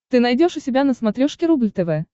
ты найдешь у себя на смотрешке рубль тв